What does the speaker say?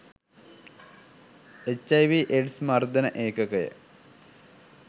H I V AIDS මර්දන ඒකකය